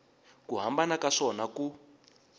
ku hambana ka swona ku